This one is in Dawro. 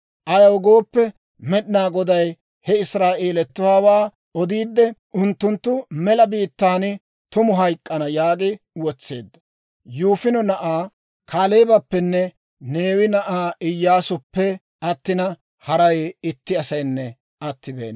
Ayaw gooppe, Med'inaa Goday he Israa'eelatuwaawaa odiidde, «Unttunttu mela biittaan tumu hayk'k'ana» yaagi wotseedda. Yifune na'aa Kaaleebappenne Neewe na'aa Iyyaasuppe attina, haray itti asaynne attibeena.